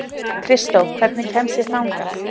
Kristó, hvernig kemst ég þangað?